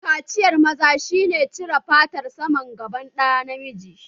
Kaciyar maza shi ne cire fatar saman gaban ɗa namiji